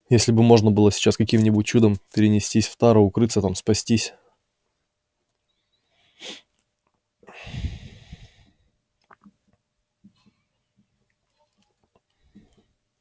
если бы можно было сейчас каким-нибудь чудом перенестись в тару укрыться там спастись